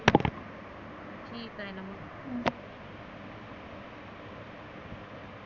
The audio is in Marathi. मी इथं आहे ना मग.